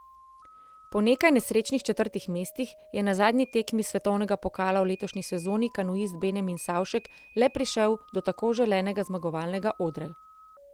Po nekaj nesrečnih četrtih mestih je na zadnji tekmi svetovnega pokala v letošnji sezoni kanuist Benjamin Savšek le prišel do tako želenega zmagovalnega odra.